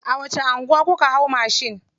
A wace anguwa kuka hau mashin?